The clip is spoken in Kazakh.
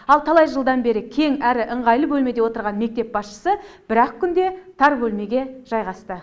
ал талай жылдан бері кең әрі ыңғайлы бөлмеде отырған мектеп басшысы бір ақ күнде тар бөлмеге жайғасты